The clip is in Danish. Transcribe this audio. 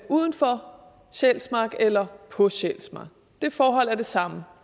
uden for sjælsmark eller på sjælsmark det forhold er det samme